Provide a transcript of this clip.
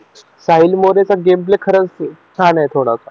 साहिल मध्ये game play खरंच छान आहे थोडासा